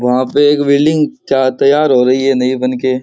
वहां पे एक बिल्डिंग ते तैयार हो रही है नई बनके।